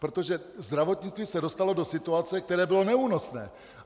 Protože zdravotnictví se dostalo do situace, která byla neúnosná.